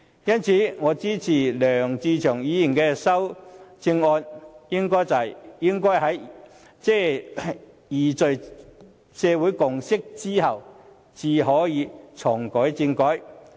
因此，我支持梁志祥議員的修正案，即應該在凝聚社會共識後才可重啟政改。